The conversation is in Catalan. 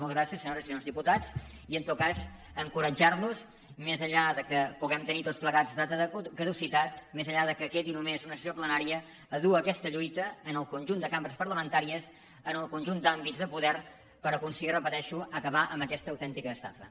moltes gràcies senyores i senyors diputats i en tot cas encoratjar·los més enllà que puguem tenir tots da·ta de caducitat més enllà que quedi només una ses·sió plenària a dur aquesta lluita al conjunt de cam·bres parlamentàries al conjunt d’àmbits de poder per aconseguir ho repeteixo acabar amb aquesta autènti·ca estafa